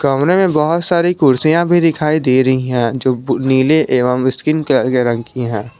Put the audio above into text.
कमरे में बहुत सारी कुर्सियां भी दिखाई दे रही हैं जो बू नीले एवं स्किन कलर के रंग की हैं।